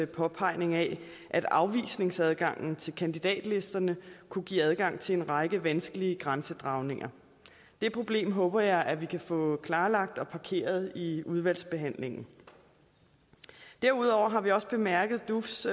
påpegning af at afvisningsadgangen til kandidatlisterne kunne give adgang til en række vanskelige grænsedragninger det problem håber jeg vi kan få klarlagt og parkeret i udvalgsbehandlingen derudover har vi også bemærket dufs